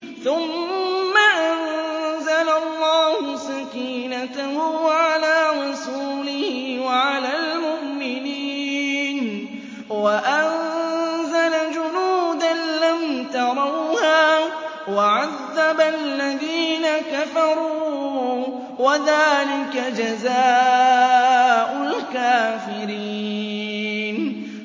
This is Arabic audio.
ثُمَّ أَنزَلَ اللَّهُ سَكِينَتَهُ عَلَىٰ رَسُولِهِ وَعَلَى الْمُؤْمِنِينَ وَأَنزَلَ جُنُودًا لَّمْ تَرَوْهَا وَعَذَّبَ الَّذِينَ كَفَرُوا ۚ وَذَٰلِكَ جَزَاءُ الْكَافِرِينَ